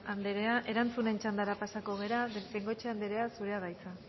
anderea erantzunen txandara pasatuko gara bengoechea anderea zurea da hitza